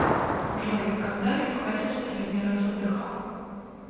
джой когда лев хасис последний раз отдыхал